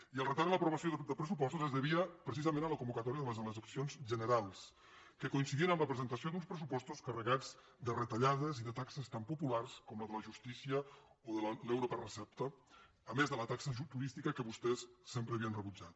i el retard en l’aprovació dels pressupostos es devia precisament a la convocatòria de les eleccions generals que coincidien amb la presentació d’uns pressupostos carregats de retallades i de taxes tan populars com la de la justícia o la de l’euro per recepta a més de la taxa turística que vostès sempre havien rebutjat